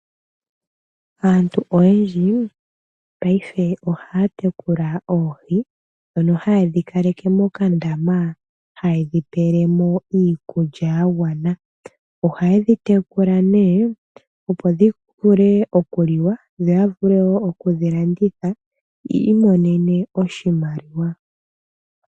Aantu oyendji paife ohaya tekula oohi ndhono haye dhi kaleke mokandama haye dhi pele mo iikulya ya gwana. Ohaye dhi tekula nee, opo dhi vule okuliwa, dho ya vule wo oku dhi landithwa yi imonene oshimaliwa.